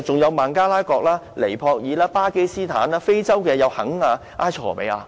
有孟加拉、尼泊爾、巴基斯坦，以及非洲的肯亞和埃塞俄比亞。